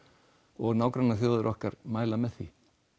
og nágrannaþjóðir okkar mæla með því